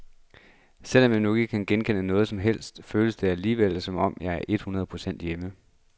Selv om jeg ikke kan genkende noget som helst, føles det alligevel som om jeg er et hundrede procent hjemme.